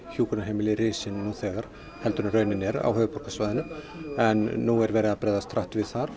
hjúkrunarheimili risin nú þegar en raunin er á höfuðborgarsvæðinu en nú er verið að bregðast hratt við þar